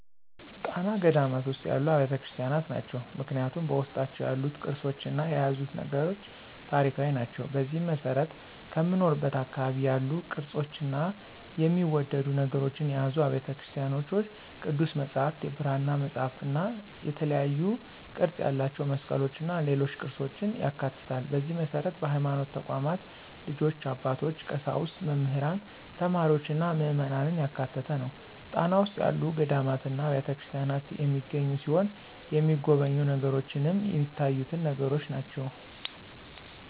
ጣና ገዳማት ውስጥ ያሉ አብያተ ክርስቲያኖች ናቸው። ምክንያቱም በውስጣቸው ያሉት ቅርሶችና የያዙት ነገሮች ታሪካዊ ናቸው። በዚህም መሰረት ከምኖርበት አካባቢ ያሉ ቅርፆችና የሚወደዱ ነገሮችን የያዙ አብያተ ቤተክርስቲያኖች ቅዱስ መፅሐፍት፣ የብራና መፅሐፍትእና የተለያዩ ቅርፅ ያላቸው መስቀሎችና ሌሎች ቅርፆችን ያካትታል፣ በዚህ መሰረት በሀይማኖት ተቋማት ልጆች፣ አባቶች፣ ቀሳውስት፣ መምህራን፣ ተማሪዎችና ምዕመናን ያካተተ ነው። ጣና ውስጥ ያሉ ገዳማትና አብያተክርስቲያናት የሚገኙ ሲሆን የተሚጎበኙ ነገሮችንም ሚታዩትን ነገሮች ናቸው።